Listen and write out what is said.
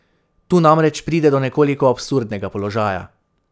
Tu namreč pride do nekoliko absurdnega položaja.